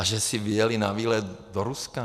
A že si vyjeli na výlet do Ruska?